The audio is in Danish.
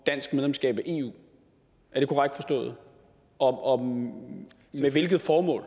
dansk medlemskab af eu er det korrekt forstået og med hvilket formål